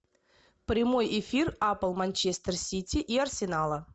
прямой эфир апл манчестер сити и арсенала